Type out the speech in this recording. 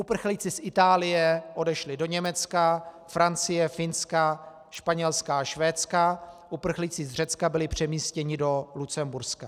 Uprchlíci z Itálie odešli do Německa, Francie, Finska, Španělska a Švédska, uprchlíci z Řecka byli přemístěni do Lucemburska.